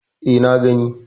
E, na gani.